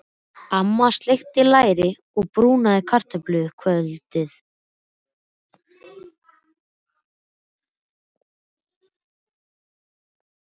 Amma steikti læri og brúnaði kartöflur kvöldið sem Stefán kom.